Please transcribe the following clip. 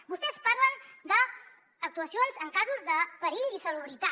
vostès parlen d’actuacions en casos de perill i salubritat